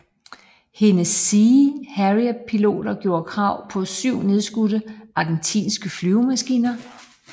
Hendes Sea Harrierpiloter gjorde krav på 7 nedskudte argentinske flyvemaskiner